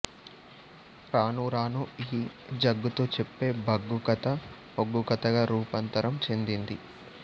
రాను రాను ఈ జగ్గుతో చెప్పే బగ్గు కథ ఒగ్గు కథగా రూపాంతరం చెందింది